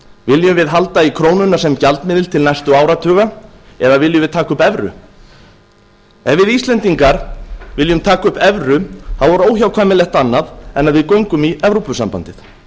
viljum við halda í krónuna sem gjaldmiðil til næstu áratuga eða viljum við taka upp evru ef við íslendingar viljum taka upp evru er óhjákvæmilegt annað en að við göngum í evrópusambandið